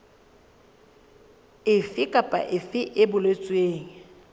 efe kapa efe e boletsweng